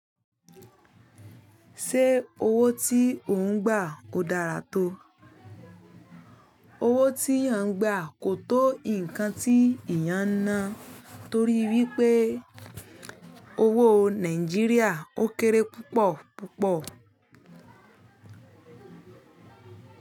Ṣé owó tí ò ń gba kò dára tó? Owó tí à ń gba kò tó nǹkan tí ìyá ń ná torí wípé owó Nàìjíríà ó kéré púpọ̀ púpọ̀.